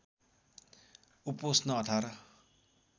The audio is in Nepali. उपोष्ण १८